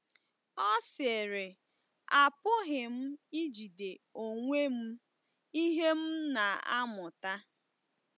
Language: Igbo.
Ọ sịrị: “Apụghị m ijide onwe m ihe m na-amụta.